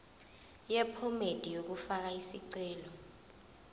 yephomedi yokufaka isicelo